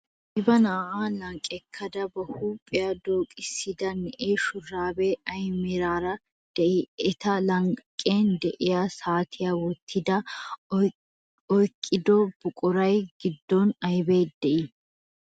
Qiiba na'aa lanqqekkada ba huuphiya dooqissida na'ee shuraabee ay meraara de'ii? Eta lanqqen diya saatiya wottidaage oyikkido buquraa giddon ayibi dii?